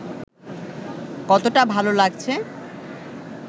কতটা ভালো লাগছে